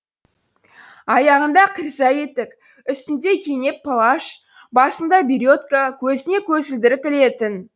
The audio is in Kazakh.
аяғында кирза етік үстінде кенеп плащ басында беретка көзіне көзілдірік ілетін